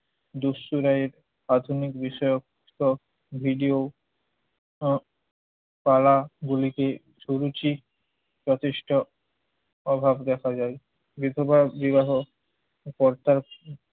দুশর রায় এর আধুনিক বিষয়ক সব video আহ তালা গুলিকে সরুচি প্রতিষ্ঠা অভাব দেখা যায়। বিধবা বিবাহ কর্তা